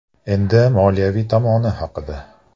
Endi moliyaviy tomoni haqida.